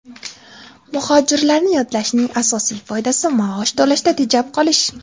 Muhojirlarni yollashning asosiy foydasi maosh to‘lashda tejab qolish.